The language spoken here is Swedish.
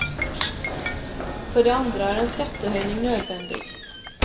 För det andra är en skattehöjning nödvändig.